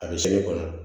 A bɛ segi kɔnɔ